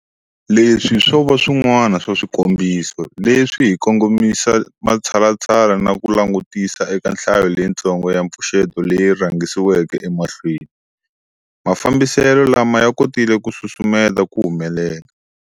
Leswi swo va swin'wana swa swikombiso leswi hi kongomisa matshalatshala na ku langutisisa eka nhlayo leyitsongo ya mipfuxeto leyi rhangisiweke emahlweni, mafambiselo lama ya kotile ku susumeta ku humelela.